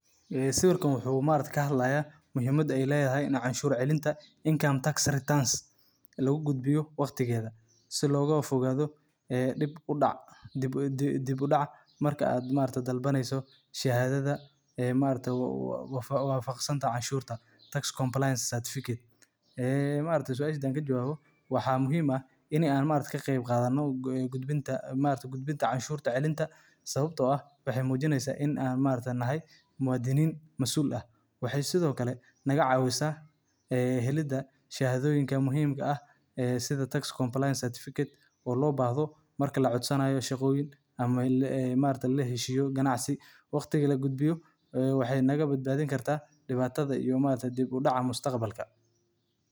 Buuxinta cashuur celinta waa hawl muhiim ah oo qof walba oo shaqeysta ama ganacsi leeyahay uu waajib ku yahay inuu si sax ah u qabto sannad kasta si loo hubiyo in dakhliga uu helay uu si sharci ah loogu diiwaangeliyey, loona bixiyo cashuuraha ku habboon ee dowladda. Marka la buuxinayo cashuur celinta, waxaa lagama maarmaan ah in la ururiyo dhammaan dukumentiyada muhiimka ah sida warqadaha mushaharka, biilasha, iyo caddeymaha kharashyada la oggol yahay ee lagala baxo cashuurta.